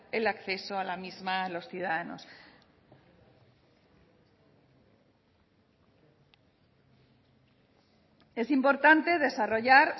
el acceso a la misma a los ciudadanos es importante desarrollar